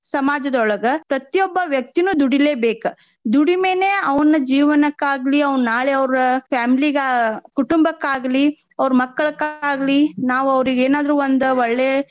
ಸಮಾಜದೊಳಗ ಪ್ರತಿಯೊಬ್ಬ ವ್ಯಕ್ತಿನು ದುಡಿಲೇಬೇಕ. ದುಡಿಮೆನೆ ಅವ್ನ ಜೀವನಕ್ಕಾಗ್ಲಿ ಅವ್ನ ನಾಳೆ ಅವ್ರ family ಗ ಕುಟುಂಬಕ್ಕಾಗ್ಲಿ ಅವ್ರ ಮಕ್ಕಳಕ್ಕ ಆಗ್ಲಿ ನಾವ್ ಅವ್ರಿಗೆ ಏನಾದ್ರೂ ಒಂದು ಒಳ್ಳೆ.